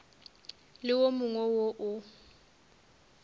le wo mongwe wo o